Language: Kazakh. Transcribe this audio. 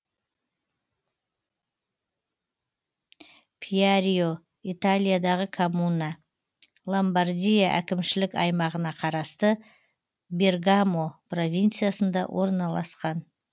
пьярио италиядағы коммуна ломбардия әкімшілік аймағына қарасты бергамо провинциясында орналасқан